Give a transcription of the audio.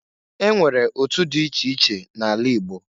E nwere otu di iche iche na-ala Igbo.